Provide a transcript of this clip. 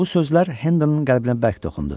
Bu sözlər Hendonun qəlbinə bərk toxundu.